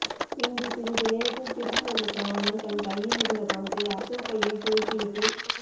பின்பு சிறிது நேரத்தில் திரும்பி வந்த சரவணன் தன் கையில் இருந்த பணத்தை அசோக் கையில் திணித்து விட்டு